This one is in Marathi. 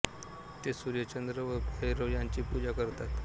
ते सूर्य चंद्र व भैरव यांची पूजा करतात